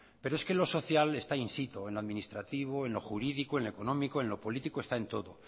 pero es que lo social está insisto en lo administrativo en lo jurídico en lo económico en lo político está en todo